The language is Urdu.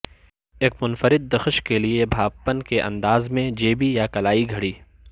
ایک منفرد دخش کے لئے بھاپپن کے انداز میں جیبی یا کلائی گھڑی